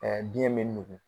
Aa diɲɛ be nugu.